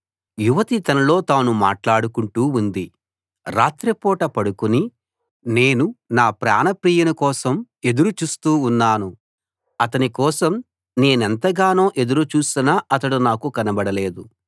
యువతి తనలో తాను మాట్లాడుకుంటూ ఉంది రాత్రిపూట పడుకుని నేను నా ప్రాణప్రియుని కోసం ఎదురు చూస్తూ ఉన్నాను అతని కోసం నేనెంతగానో ఎదురు చూసినా అతడు కనబడలేదు